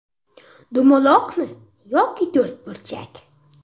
Dumaloqmi yoki to‘rtburchak?